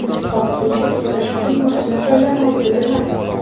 Vaqtincha to‘xtash uchun maxsus joylar mavjud emas.